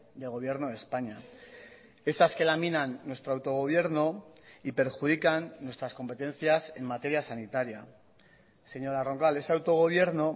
del gobierno de españa esas que laminan nuestro autogobierno y perjudican nuestras competencias en materia sanitaria señora roncal ese autogobierno